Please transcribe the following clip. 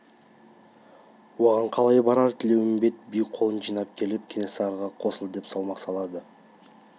оған қалай барар тілеуімбет би қол жинап келіп кенесарыға қосыл деп салмақ салады